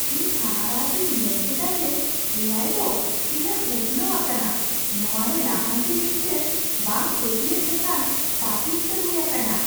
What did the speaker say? ᱤᱧ ᱦᱟᱦᱟᱲᱟ ᱟᱛᱮᱧ ᱧᱮᱞᱠᱮᱫᱟ ᱡᱮ ᱮ ᱟᱭ ᱫᱚ ᱛᱤᱱᱟᱹᱜ ᱩᱛᱷᱱᱟᱹᱣ ᱟᱠᱟᱱᱟ ᱾ ᱱᱚᱣᱟ ᱨᱮ ᱞᱟᱦᱟᱱᱛᱤ ᱢᱤᱫᱴᱟᱝ ᱵᱟᱝ ᱯᱟᱹᱛᱭᱟᱹᱜ ᱞᱮᱠᱟᱱ ᱛᱟᱹᱯᱤᱥᱛᱮ ᱦᱩᱭ ᱟᱠᱟᱱᱟ ᱾